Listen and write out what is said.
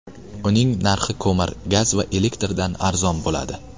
Uning narxi ko‘mir, gaz va elektrdan arzon bo‘ladi.